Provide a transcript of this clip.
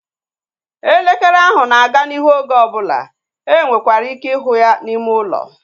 Elekere ahụ na-aga n'ihu oge ọbụla. E nwekwara ike ịhụ ya n'ime ụlọ